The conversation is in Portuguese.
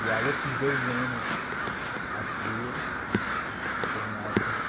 E aí eu fiz dois anos, as duas, né, e teve uma época que